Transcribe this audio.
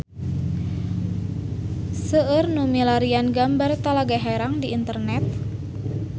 Seueur nu milarian gambar Talaga Herang di internet